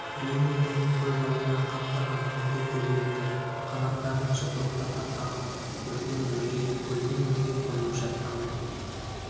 бейне бұның көз алдында қаптаған түнгі көбелектер қанаттарын жыпылықтата қағып бүрден бүрге гүлден гүлге қонып жатқандай